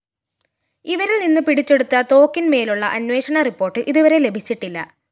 ഇവരില്‍ നിന്ന് പിടിച്ചെടുത്ത തോക്കിന്‍മേലുള്ള അന്വഷണ റിപോര്‍ട്ട് ഇതുവരെ ലഭിച്ചിട്ടില്ല